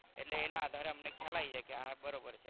એટલે એના આધારે અમને ખ્યાલ આવી જાય કે આ બરોબર છે.